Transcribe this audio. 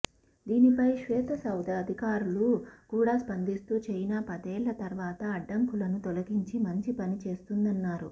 దీనిపై శ్వేతసౌధ అధికారులు కూడా స్పందిస్తూ చైనా పదేళ్ల తర్వాత అడ్డంకులను తొలగించి మంచి పని చేసిందన్నారు